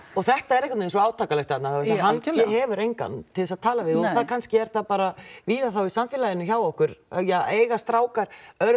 og þetta er einhvern veginn svo átakanlegt þarna hann hefur engan til þess að tala við og kannski er það bara víðar þá í samfélaginu hjá okkur ja eiga strákar